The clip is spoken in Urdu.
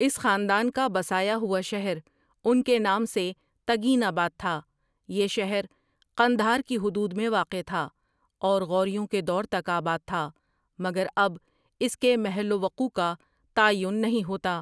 اس خاندان کا بسایا ہوا شہر ان کے نام سے تگین آباد تھا یہ شہر قندھار کی حدود میں واقع تھا اور غوریوں کے دور تک آباد تھا مگر اب اس کے محل و وقوع کا تعین نہیں ہوتا ۔